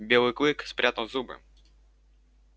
белый клык спрятал зубы